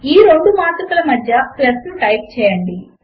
ఈ రెండు మాత్రికల మధ్య ప్లస్ ను టైప్ చేయండి